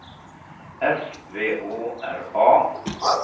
S V Å R A